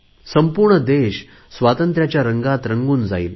संपूर्ण देश स्वातंत्र्याच्या रंगात रंगून जाईल